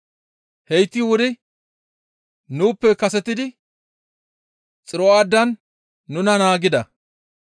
Heyti wuri nuuppe kasetidi Xiro7aadan nuna naagida.